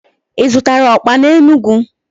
Ị zụtara ọkpa n'Enugwu?